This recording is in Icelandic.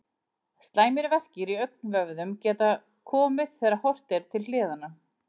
Slæmir verkir í augnvöðvum geta komið þegar horft er til hliðanna.